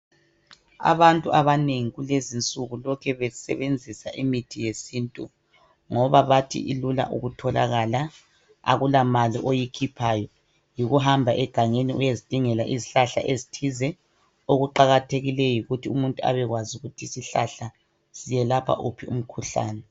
Abantu abanengi kulezi nsuku lokhe besebenzisa mithi yesintu ngoba bathi ilula ukutholakala ,akulamali oyikhiphayo yikuhamba egangeni uyezidingela izihlahla ezithize okuqakathekileyo yikuthi umuntu abekwazi ukuthi isihlahla siyelapha uphi umkhuhlane .